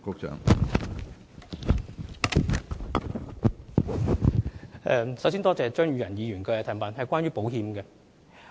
首先多謝張宇人議員所提出有關保險的質詢。